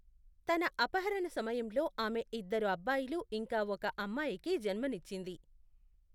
తన అపహరణ సమయంలో ఆమె ఇద్దరు అబ్బాయిలు ఇంకా ఒక అమ్మాయికి జన్మనిచ్చింది.